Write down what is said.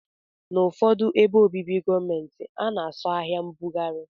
Na ụfọdụ ebe obibi gọọmenti ana asọ ahia mbugari.